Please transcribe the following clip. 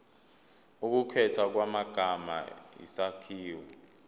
ukukhethwa kwamagama isakhiwo